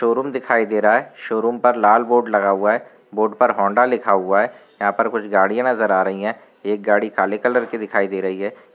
Showroom दिखाई दे रहा है। शोरूम पर लाल बोर्ड लगा हुआ हैं। बोर्ड पर होंडा लिखा हुआ है। यहाँं पर कुछ गाड़ियां नजर आ रही है। एक गाड़ी काले कलर कि दिखाई दे रही है।